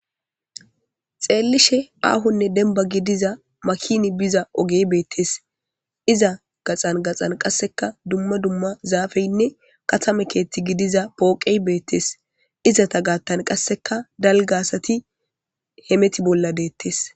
Xeellishin aahonne dembba gidida makinay biza ogey beettees.izaa matan qassekka dumma dumma zaafeynne katama keethe pooqey beettees.